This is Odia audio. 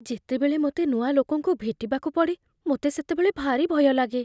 ଯେତେବେଳେ ମୋତେ ନୂଆ ଲୋକଙ୍କୁ ଭେଟିବାକୁ ପଡ଼େ, ମୋତେ ସେତେବେଳେ ଭାରି ଭୟ ଲାଗେ।